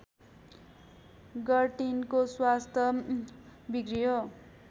गर्टिनको स्वास्थ्य बिग्रियो